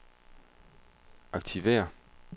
aktiver